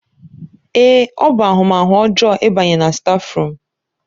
Èé! ọ bụ ahụmahụ ọjọọ ịbanye na stáfruum.